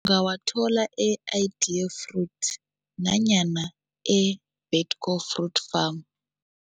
Ungawathola e-Idea Fruit nanyana e-Betko Fruit Farm.